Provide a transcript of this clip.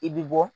I bi bɔ